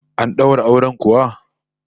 An daura auren kuwa?